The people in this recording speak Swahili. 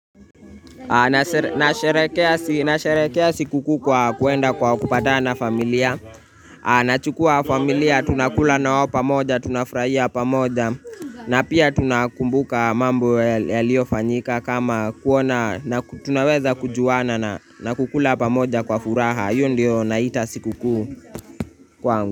Nasherehekea sikukuu kwa kwenda kwa kupatana na familia Nachukua familia, tunakula nao pamoja, tunafurahia pamoja. Na pia tunakumbuka mambo yaliofanyika kama kuona na tunaweza kujuana na kukula pamoja kwa furaha hiyo ndio naita sikukuu kwangu.